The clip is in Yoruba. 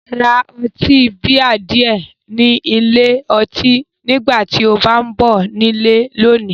Ra ọtí bíà díẹ̀ ni ilé ọtí nígbà tí o bá ń bọ̀ ní ilé lónìí